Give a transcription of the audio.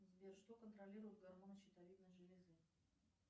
сбер что контролирует гормон щитовидной железы